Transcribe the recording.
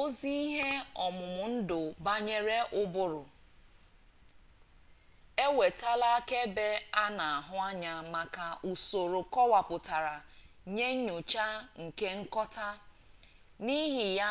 ozi ihe-omumundu-banyere-uburu ewetala akaebe ana ahu anya maka usoro kowaputa nye nyocha nke nkota nihi ya